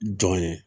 Jɔn ye